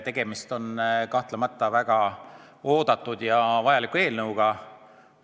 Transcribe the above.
Tegemist on kahtlemata väga oodatud ja vajaliku eelnõuga.